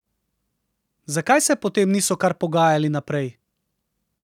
Zakaj se potem niso kar pogajali naprej?